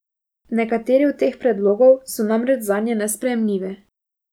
Nekateri od teh predlogov so namreč zanje nesprejemljivi.